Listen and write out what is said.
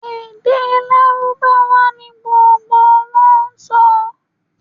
Èdè lárúbáwá ni gbogbo wọn n sọ